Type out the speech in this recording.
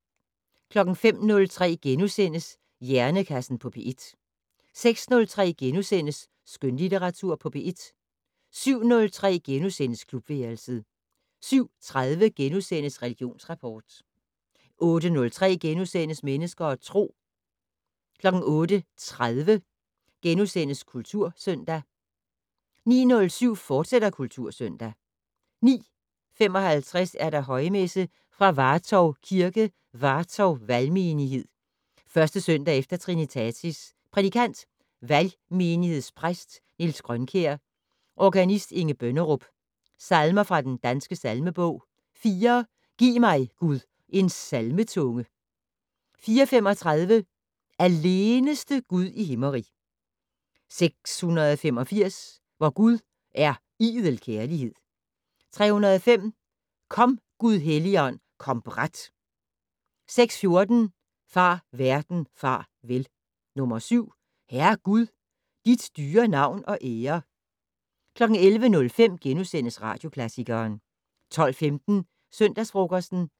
05:03: Hjernekassen på P1 * 06:03: Skønlitteratur på P1 * 07:03: Klubværelset * 07:30: Religionsrapport * 08:03: Mennesker og Tro * 08:30: Kultursøndag 09:07: Kultursøndag, fortsat 09:55: Højmesse - Fra Vartov Kirke, Vartov Valgmenighed. 1. søndag efter trinitatis. Prædikant: Valgmenighedspræst Niels Grønkjær. Organist: Inge Bønnerup. Salmer fra den danske salmebog: 4 "Giv mig, Gud, en salmetunge". 435 "Alleneste Gud i Himmerig". 685 "Vor Gud er idel Kærlighed". 305 "Kom Gud Helligånd, kom brat". 614 "Far verden, far vel". 7 "Herre Gud, dit dyre navn og ære". 11:05: Radioklassikeren * 12:15: Søndagsfrokosten